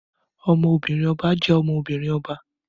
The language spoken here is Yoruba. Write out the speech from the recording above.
Ọmọbìnrin ọba jẹ́ ọmọ-binrin ọba